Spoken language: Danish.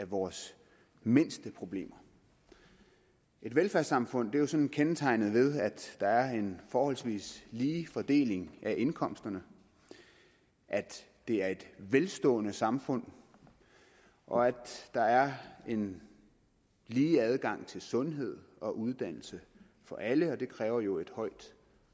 vores mindste problemer et velfærdssamfund er jo sådan kendetegnet ved at der er en forholdsvis lige fordeling af indkomsterne at det er et velstående samfund og at der er en lige adgang til sundhed og uddannelse for alle og det kræver jo et højt